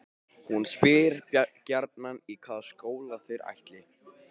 Hún spyr gjarnan í hvaða skóla þeir ætli.